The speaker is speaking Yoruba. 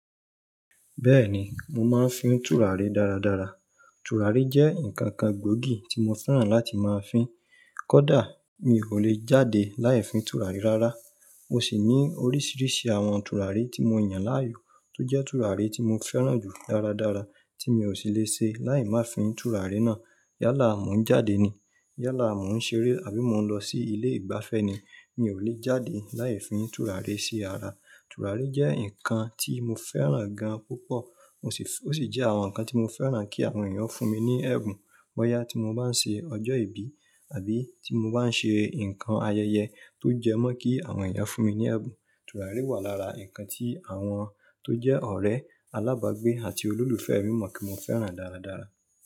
Bẹ́ẹ̀ni, mo máa ń fín tùràrí dáradára. Tùràrí jẹ́ nǹkan kan gbóògì tí mo fẹ́ràn láti máa fín. Kódà mi ò lè jáde láì fín tùràrí rárá. Mo sì ní oríṣiríṣi àwọn tùràrí tí mo yàn láàyò tó jẹ́ tùràrí tí mo fẹ́ràn jù dáradára tí mi ò sì lè ṣe láì má fín tùràrí náà. Yálà mo ń jáde ni, yálà mo ń ṣeré àbí mo ń lọ sí ilé ìgbafẹ́ ni, mi ò lè jáde láì fín tùràrí sí ara. Tùràrí jẹ́ nǹkan tí mo fẹ́ràn gan púpọ̀. Ó sì jẹ́ àwọn ǹkan tí mo fẹ́ràn kí àwọn èèyàn fún mi ní ẹ̀bùn bọ́yà tí mo bá ń ṣe ọjọ́ ìbí àbí tí mo bá ń ṣe nǹkan ayẹyẹ tó jẹ́ mọ́ kí àwọn èèyàn fún mi ní ẹ̀bùn. Tùràrí wà lára nǹkan tí àwọn tó jẹ́ ọ̀rẹ́, alábàágbé àti olólùfẹ́ mi mọ̀ kí mo fẹ́ràn dáradára.